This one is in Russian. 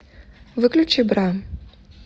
выключи бра